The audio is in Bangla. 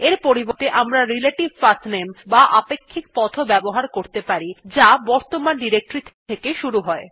এর পরিবর্তে আমরা রিলেটিভ পাঠনামে বা আপেক্ষিক পথ ও ব্যবহার করতে পারি যা বর্তমান ডিরেক্টরী থেকে শুরু হয়